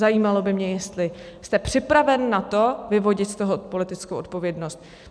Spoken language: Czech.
Zajímalo by mě, jestli jste připraven na to vyvodit z toho politickou odpovědnost.